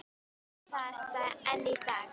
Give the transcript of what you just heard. Þetta er lítilræði upphefst hann aftur.